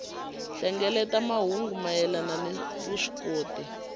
hlengeleta mahungu mayelana ni vuswikoti